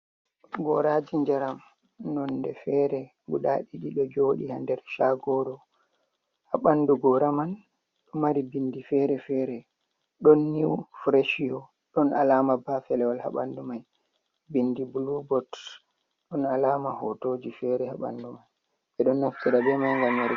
Gooraaji njaram nonnde fere guda ɗiɗi ɗo jooɗi haa nder shaagoro, haa ɓanndu goora man ɗo mari binndi fere-fere ɗon new freshio ɗon alaama ba felewol haa banndu man binndi blue boo ɗon alama hotoji fere haa banndu man ɓe ɗon naftira bee man ngam yaruki